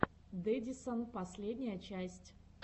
дэдисан последняя часть